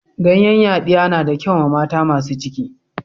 Ganyen yadiya na da kyau ma mata masun ciki.